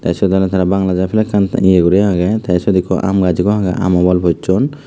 te sut olode bangladesh or flag an iyo guri agey te sut am gach ekku agey ami bol pocchun.